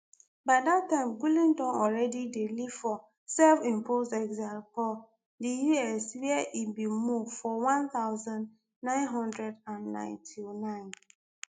by dat time gulen don already dey live for selfimposed exile for di us wia e bin move for one thousand, nine hundred and ninety-nine